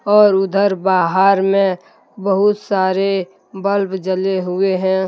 और उधर बाहर में बहुत सारे बल्ब जले हुए हैं।